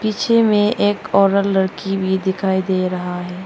पीछे में एक औरत लड़की भी दिखाई दे रहा है।